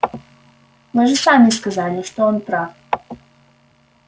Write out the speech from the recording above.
вы же сами сказали что он прав